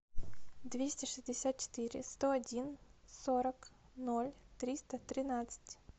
двести шестьдесят четыре сто один сорок ноль триста тринадцать